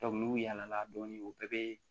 n'u yala dɔɔnin u bɛɛ bɛ